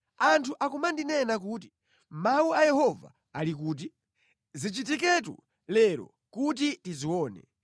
Anthu akumandinena kuti, “Mawu a Yehova ali kuti? Zichitiketu lero kuti tizione!”